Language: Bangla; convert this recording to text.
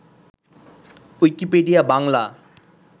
উইকিপিডিয়া বাংলা